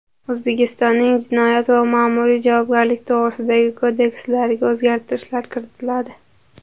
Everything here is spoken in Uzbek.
O‘zbekistonning Jinoyat va Ma’muriy javobgarlik to‘g‘risidagi kodekslariga o‘zgartirishlar kiritiladi.